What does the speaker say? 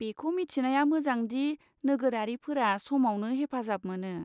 बेखौ मिथिनाया मोजांदि नोगोरारिफोरा समावनो हेफाजाब मोनो।